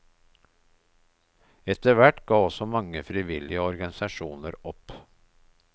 Etterhvert ga også mange frivillige organisasjoner opp.